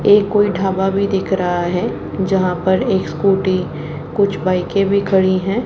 ये कोई ढाबा भी दिख रहा है जहां पर एक स्कूटी कुछ बाइके भी खड़ी है।